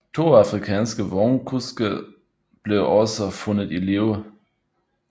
To afrikanske vognkuske blev også fundet i live